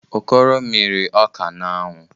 Okoro mịrị ọka n'anwụ.